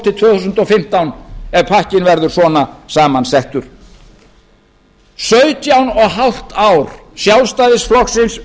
þúsund og fimmtán ef pakkinn verður svona saman settur sautján og hálft ár sjálfstæðisflokksins